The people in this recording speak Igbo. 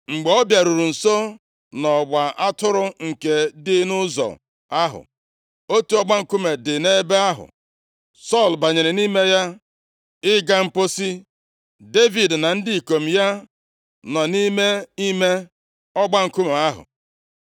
Mgbe ọ bịaruru nso nʼọgba atụrụ nke dị nʼụzọ ahụ, otu ọgba nkume dị nʼebe ahụ, Sọl banyere nʼime ya, ịga mposi. Devid na ndị ikom ya nọ nʼime ime ọgba nkume ahụ.